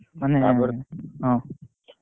ହଁ,